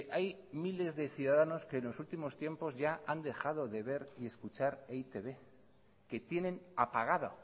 hay miles de ciudadanos que en los últimos tiempos ya han dejado de ver y escuchar e i te be que tienen apagado